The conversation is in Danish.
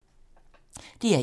DR1